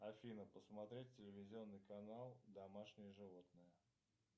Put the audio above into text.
афина посмотреть телевизионный канал домашние животные